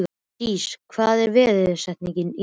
Dís, hver er dagsetningin í dag?